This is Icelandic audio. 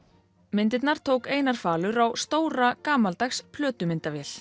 myndirnar tók Einar falur á stóra gamaldags